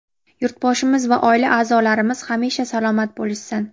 yurtboshimiz va oila a’zolarimiz hamisha salomat bo‘lishsin.